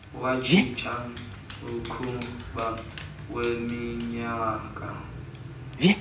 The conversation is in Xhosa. watshintsha umkhuba weminyaka